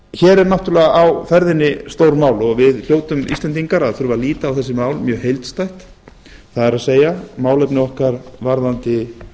er náttúrlega á ferðinni stórmál og við hljótum íslendingar að þurfa að líta á þessi mál mjög heildstætt það er málefni okkar varðandi